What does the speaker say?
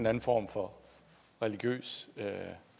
anden form for religiøs